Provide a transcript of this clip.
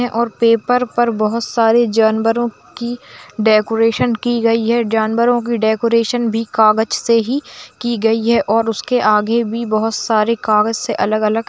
और पेपर पर बहुत सारी जानवरों की डेकोरेशन की गई है जानवरों की डेकोरेशन भी कागज से की गयी है और उस के आगे भी कागज से अलग-अलग--